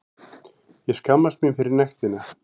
Ég skammast mín fyrir nektina.